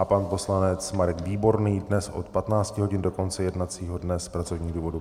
A pan poslanec Marek Výborný dnes od 15 hodin do konce jednacího dne z pracovních důvodů.